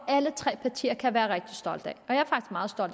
alle tre partier kan være rigtig stolte